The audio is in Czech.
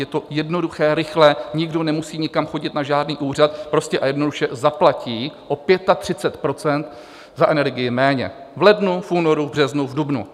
Je to jednoduché, rychlé, nikdo nemusí nikam chodit na žádný úřad, prostě a jednoduše zaplatí o 35 % za energii méně v lednu, v únoru, v březnu, v dubnu.